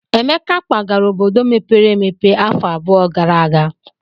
Emeka kwagara obodo mepere emepe afọ abụọ gara aga.